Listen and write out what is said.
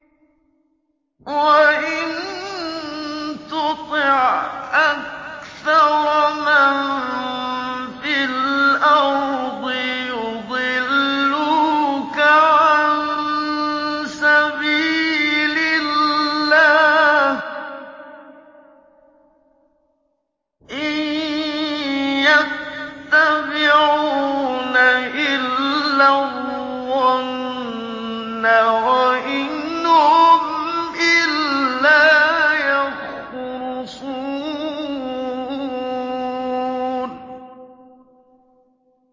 وَإِن تُطِعْ أَكْثَرَ مَن فِي الْأَرْضِ يُضِلُّوكَ عَن سَبِيلِ اللَّهِ ۚ إِن يَتَّبِعُونَ إِلَّا الظَّنَّ وَإِنْ هُمْ إِلَّا يَخْرُصُونَ